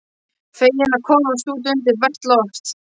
Feginn að komast út undir bert loft.